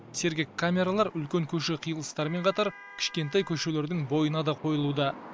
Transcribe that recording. сергек камералары үлкен көше қиылыстарымен қатар кішкентай көшелердің бойына да қойылуда